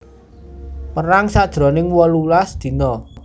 Perang sajroning wolulas dina